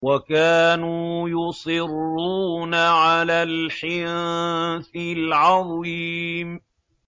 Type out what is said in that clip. وَكَانُوا يُصِرُّونَ عَلَى الْحِنثِ الْعَظِيمِ